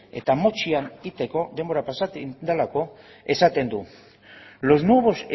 eta motzean egiteko denbora pasatu egiten delako esaten du los nuevos